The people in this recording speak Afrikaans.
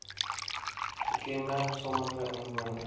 gekenmerk sommige inwoners